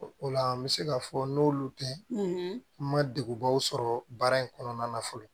O o la n bɛ se ka fɔ n'olu tɛ n ma degunbaw sɔrɔ baara in kɔnɔna na fɔlɔ